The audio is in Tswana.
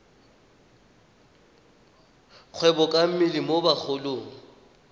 kgwebo ka mmele mo bagolong